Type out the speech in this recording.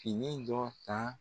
Fini dɔ ta.